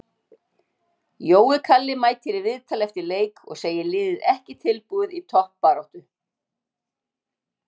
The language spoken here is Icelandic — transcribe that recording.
Jói Kalli mætir í viðtal eftir leik og segir liðið ekki tilbúið í toppbaráttu.